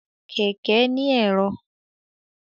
Kẹkẹ ni ẹ̀rọ.